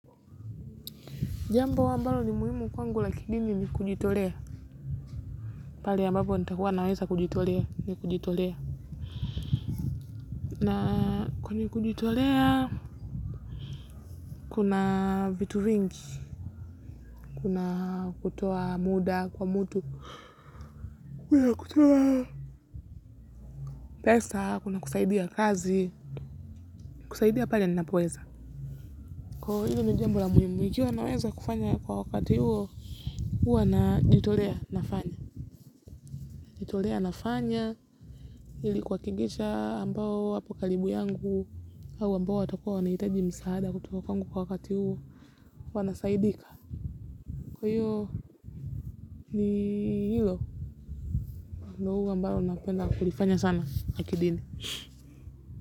Jambo ambalo ni muhimu kwangu lakini, nikujitolea. Pale ambapo nitakua naweza kujitolea.nikujitolea. Na kwenye kujitolea, kuna vitu vingi, kuna kutoa muda kwa mtu, kuna kutoa pesa, kuna kusaidia kazi, kusaidia pale ninapoweza. Kwa hivyo hilo ni jambo la muhimu, ikiwa naweza kufanya kwa wakati huo, huwa najitolea nafanya. Najitolea nafanya ili kuhakikisha ambao wapo karibu yangu au ambao watakua wanahitaji msaada kutoka kwangu kwa wakati huo, wanasaidika. Kwa hiyo ni hilo ndio huwa ambalo napenda kulifanya la kidini.